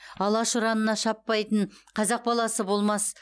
алаш ұранына шаппайтын қазақ баласы болмас